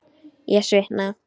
Ég svitna.